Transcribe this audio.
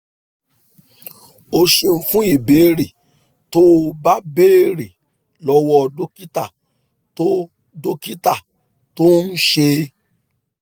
o ṣeun fún ìbéèrè tó o bá béèrè lọ́wọ́ dókítà tó dókítà tó ń ṣe é